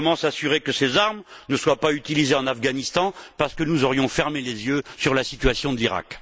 Comment s'assurer que ces armes ne seront pas utilisées en Afghanistan parce que nous aurions fermé les yeux sur la situation de l'Irak?